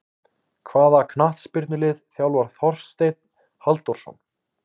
Hvaða knattspyrnulið þjálfar Þorsteinn Halldórsson?